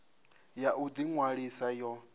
ya u ḓi ṅwalisa yo